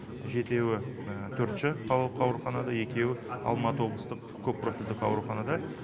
жетеуі төртінші қалалық ауруханада екеуі алматы облыстық көппрофильдік ауруханада